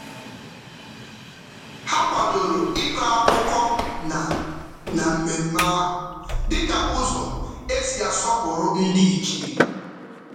Ha kwadoro ịkọ akụkọ na na mmemme ahụ dị ka ụzọ e si asọpụrụ ndịichie.